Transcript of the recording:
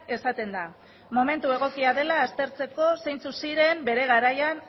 esaten da momentu egokia dela aztertzeko zeintzuk ziren bere garaian